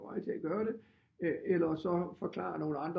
På vej til at gøre det eller forklare nogle andre